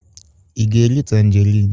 Ị ga-eri tanjerịn?